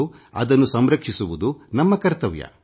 ಅಂದರೆ ನಾವು ಕಾಣದ ಜಗತನ್ನು ಸಂರಕ್ಷಿಸುವುದು ನಮ್ಮ ಕರ್ತವ್ಯ